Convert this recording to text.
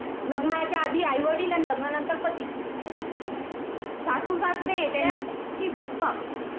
लग्नाच्या आधी आईवडील आणि लग्नाच्या नंतर पती. सासू सासरे त्यांची